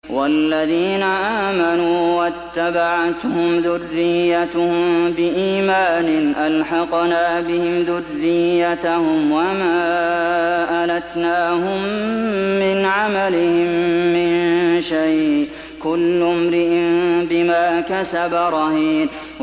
وَالَّذِينَ آمَنُوا وَاتَّبَعَتْهُمْ ذُرِّيَّتُهُم بِإِيمَانٍ أَلْحَقْنَا بِهِمْ ذُرِّيَّتَهُمْ وَمَا أَلَتْنَاهُم مِّنْ عَمَلِهِم مِّن شَيْءٍ ۚ كُلُّ امْرِئٍ بِمَا كَسَبَ رَهِينٌ